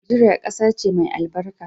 Nageria kasace mai albarka.